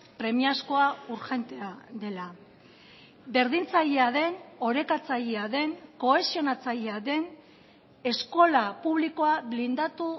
premiazkoa urgentea dela berdintzailea den orekatzailea den kohesionatzailea den eskola publikoa blindatu